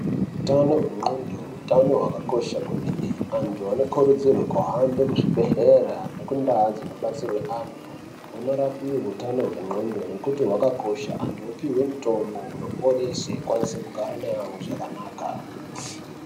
Utano hwe ndxondo utano hwakakosha kwemene antu anokurudzirwe kuhambe kuzvibhedhlera neku ndau dzinobatsirwe andu vonorapiwe utano hwe ndxondo nekuti hwakakosha antu opihwe mutombo unoporese ukwanise kugara nevamweni zvakanaka.